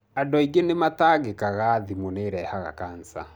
Andũ aingĩ nĩ matangĩkaga thimũ nĩirehaga cancer.